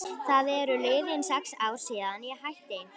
Það eru liðin sex ár síðan ég hætti.